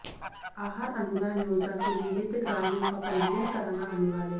आहार अनुदान योजना के लिए हितग्राहियों का पंजीयन कराना अनिवार्य